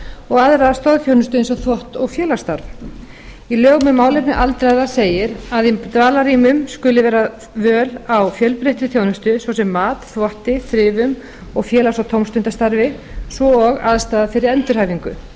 og aðra stoðþjónustu eins og þvott og félagsstarf í lögum um málefni aldraðra segir að í dvalarrýmum skuli vera völ á fjölbreyttri þjónustu svo sem mat þvotti þrifum og félags og tómstundastarfi svo og aðstaða fyrir endurhæfingu